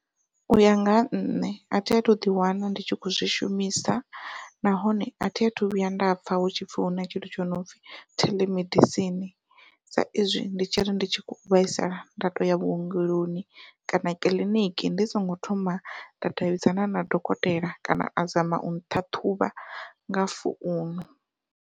Uya nga ha nṋe athi athu ḓi wana ndi tshi kho zwi shumisa, nahone athi athu vhuya nda pfha hu tshipfhi huna tshithu tsho no pfhi theḽemedisini sa izwi ndi tshi ri ndi tshi kho vhaisala nda tou ya vhuongeloni kana kiḽiniki ndi songo thoma nda davhidzana na dokotela kana a zama u nṱhaṱhuvha nga founu.